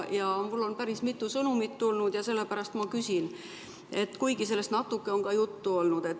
Mulle on päris mitu sõnumit tulnud ja sellepärast ma küsin, kuigi sellest on natuke ka juttu olnud.